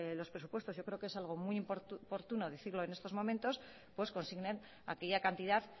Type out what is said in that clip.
los presupuestos yo creo que es algo muy oportuno decirlo en estos momentos pues consignen aquella cantidad